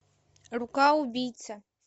рука убийца